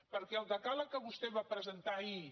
perquè el decàleg que vostè va presentar ahir